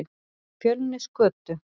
Fjölnisgötu